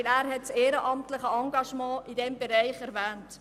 Er hat das ehrenamtliche Engagement in diesem Bereich erwähnt.